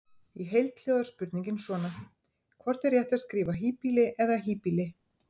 Í heild hljóðar spurningin svona: Hvort er rétt að skrifa híbýli eða hýbýli?